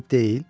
Eyib deyil?